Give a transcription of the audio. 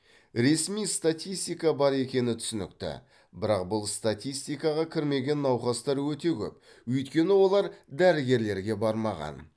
ресми статистика бар екені түсінікті бірақ бұл статистикаға кірмеген науқастар өте көп өйткені олар дәрігерлерге бармаған